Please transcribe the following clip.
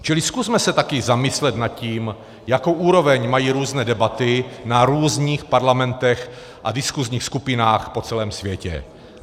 Čili zkusme se taky zamyslet nad tím, jakou úroveň mají různé debaty na různých parlamentech a diskusních skupinách po celém světě.